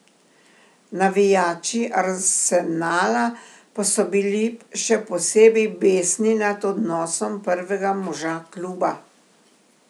Navijači Arsenala pa so bili še posebej besni nad odnosom prvega moža kluba.